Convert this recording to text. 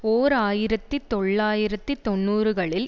ஓர் ஆயிரத்தி தொள்ளாயிரத்து தொன்னூறுகளில்